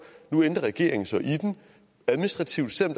nu ændrer regeringen så i den administrativt selv om